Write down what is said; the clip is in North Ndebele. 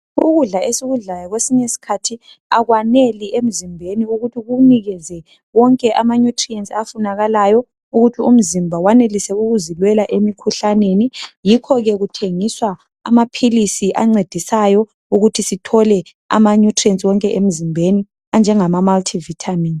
ukudla esikudlayokwesinye isikhathi akwanel emzimbeni kukunikeze wonke ama nutrients afunakalayo ukuthi umzimba weneliseukuzilwela emkhuhlaneni yikho ke kuthengiswa amaphilisi ancedisayo ukuthi sithole ama nutrients wonke emzimbeni anjengama multi Vitamins